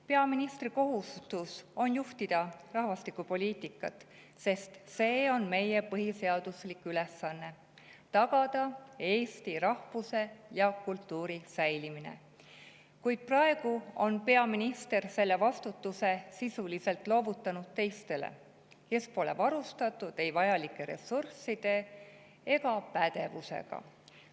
Peaministri kohustus on juhtida rahvastikupoliitikat, sest see on meie põhiseaduslik ülesanne: tagada eesti rahvuse ja kultuuri säilimine, kuid praegu on peaminister selle vastutuse sisuliselt loovutanud teistele, kes pole varustatud ei vajalike ressursside ega pädevusega.